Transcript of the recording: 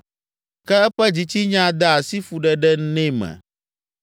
Ke eƒe dzitsinya de asi fuɖeɖe nɛ me.